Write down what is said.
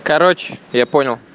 короче я понял